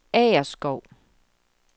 Agerskov